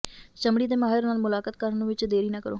ਚਮੜੀ ਦੇ ਮਾਹਿਰ ਨਾਲ ਮੁਲਾਕਾਤ ਕਰਨ ਵਿੱਚ ਦੇਰੀ ਨਾ ਕਰੋ